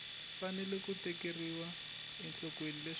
fanele ku tekeriwa enhlokweni leswaku